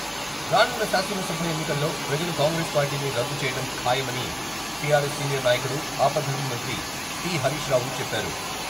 రానున్న శాసనసభ ఎన్నికల్లో ప్రజలు కాంగ్రెస్ పార్టీని రద్దు చేయటం ఖాయమని టిఆర్ఎస్ సీనియర్ నాయకుడు ఆపద్దర్మ మంత్రి టి. హరీష్ రావుచెప్పారు.